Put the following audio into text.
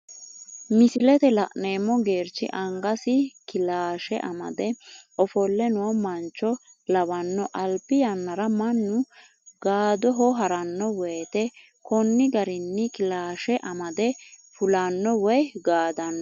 Misilete la'neemo geerichi angasi kilaashe amade ofole noo mancho lawano alibi yanara manu gaadoho harano woyite koni garinni kilaashe amade fulanno woyi gaadano